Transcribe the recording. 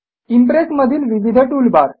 impress मधील विविध toolbar